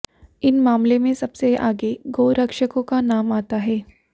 इन मामलों में सबसे आगे गौरक्षकों का नाम आता है